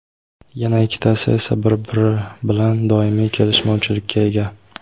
yana ikkitasi esa bir-biri bilan doimiy kelishmovchilikka ega.